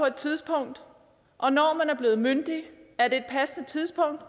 et tidspunkt og når man er blevet myndig er det et passende tidspunkt